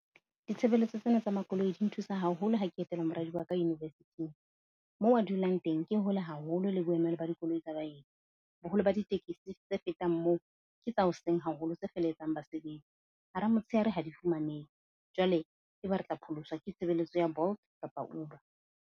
Ditshebeletso tsena tsa makoloi di nthusa haholo ha ke etela moradi wa ka university-ng. Moo a dulang teng ke hole haholo le boemelo ba dikoloi tsa baeti. Boholo ba ditekesi tse fetang moo, ke tsa hoseng haholo, tse feletsang basebetsi hara motshehare ha di fumanehe. Jwale ebe re tla pholoswa ke tshebeletso ya Bolt kapa Uber.